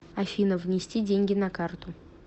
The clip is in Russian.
афина внести деньги на карту